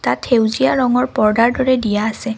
ইয়াত সেউজীয়া ৰঙৰ পৰ্দাৰ দৰে দিয়া আছে।